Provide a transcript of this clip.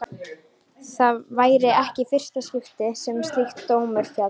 Það væri ekki í fyrsta skipti sem slíkur dómur félli.